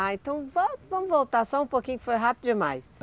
Ah, então vamos voltar só um pouquinho, que foi rápido demais.